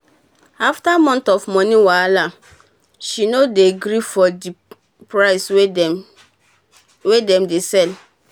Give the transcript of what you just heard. afta months of moni wahala she no dey gree for d price wey dem dey sell